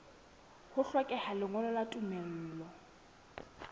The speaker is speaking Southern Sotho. ho hlokeha lengolo la tumello